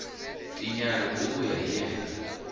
tinyarhi ti vuya hi yena